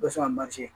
O bɛ sɔn ka manje